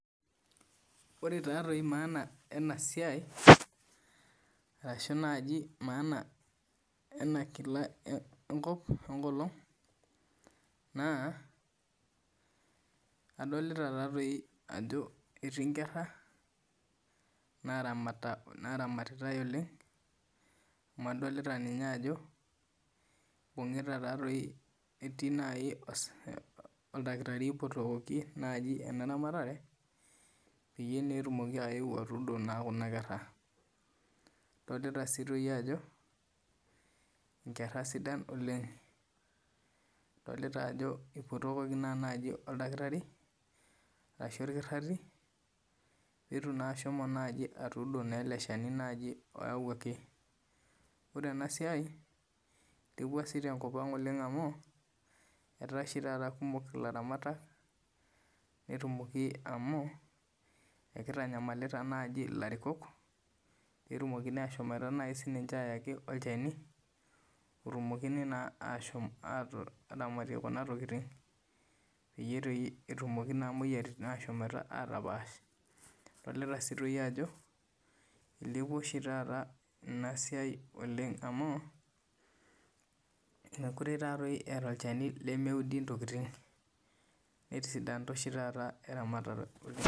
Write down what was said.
Ore taa maana ena siai arashu naaji maana ena olog naa adolita Ajo etii Nkera naramitatitae oleng amu adolita Ajo etii oldakitarii oipotokoki ena ramatare peyie etumoki ayeu atudo Kuna kera adolita sii Ajo Nkera sidan oleng edolita Ajo eipotokoki naa najii oldakitarii arashu orkitarii petum naa naaji ashomo atudo naa lele Shani oyawuaki ore enasiai elepua tenkop amu etaa oshi taata kumok elaratamatak netumoki amu kitanyamalita elarikok petumokini ashom sininche ayaki olchani otumokini naa ashom atud neramatieki Kuna tokitin petumoki naa moyiaritin ashom atapaash adolita Ajo elepua ena siai oleng amu mekure etaa olchani lemeudi ntokitin netisidana oshi taata eramatata oleng